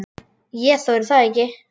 Ég þori það ekki.